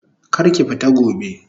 Kar ki fita gobe!